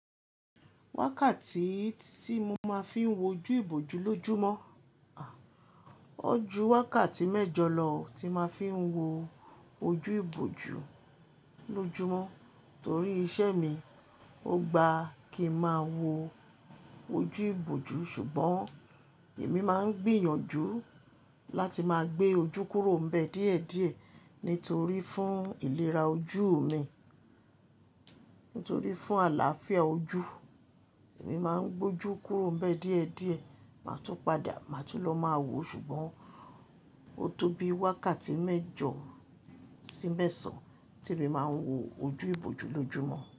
Wákàtí tí mo máa ń fi wo ojú ìbòjú lójúmọ́, à, ó ju wákàtí mẹ́jọ lọ tí máa fi ń wo ojú ìbòjú lójúmọ́ torí iṣẹ́ mi. O gba kí ń máa wo ojú ìbòjú ṣùgbọ́n èmi máa ń gbìyànjú láti máa gbé ojú kúrò ḿbẹ̀ díẹ̀díẹ̀ nítorí fún ìlera ojú mi, nítorí fún àlàáfíà ojú, èmi máa ń gbé ojú kúrò ḿbẹ̀ díẹ̀díẹ̀, má tún padà, má tún lọ máa wo ṣùgbọ́n ó tó bi wákàtí mẹ́jọ sí mẹ́sàn te mi máa ń wo ojú ìbòjú lójúmọ́